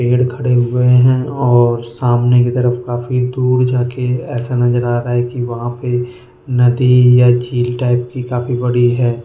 पेड़ खड़े हुए हैं और सामने की तरफ काफी दूर जा के ऐसा नजर आ रहा है कि वहां पे नदी या झील टाइप की काफी बड़ी है।